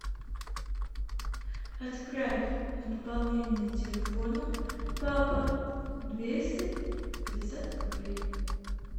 отправь на пополнение телефона папа двести пятьдесят рублей